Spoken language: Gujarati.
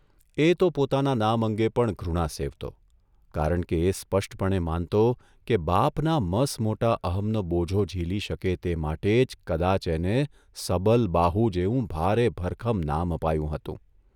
એ તો પોતાના નામ અંગે પણ ઘૃણા સેવતો, કારણ કે એ સ્પષ્ટપણે માનતો કે બાપના મસમોટા અમનો બોજો ઝીલી શકે તે માટે જ કદાચ એને ' સબલબાહુ 'જેવું ભારે ભરખમ નામ અપાયું હતું !